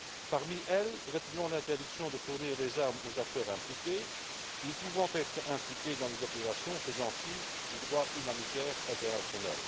Parmi celles ci, retenons l'interdiction de fournir des armes aux acteurs impliqués ou pouvant être impliqués dans des opérations faisant fi du droit humanitaire international.